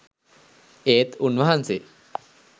ඒත් උන්වහන්සේ .